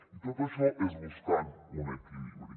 i tot això és buscant un equilibri